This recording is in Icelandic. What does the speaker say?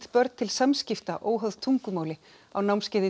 börn til samskipta óháð tungumáli á námskeiði